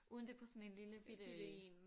Uden det på sådan en lille bitte